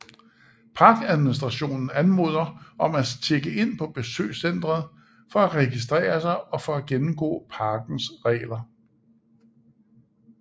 Parkadministrationen anmoder om at tjekke ind på besøgscentret for at registrere sig og for at gennemgå parkens regler